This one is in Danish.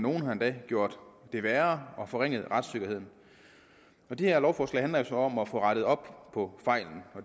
nogle har endda gjort det værre og forringet retssikkerheden og det her lovforslag handler jo så om at få rettet op på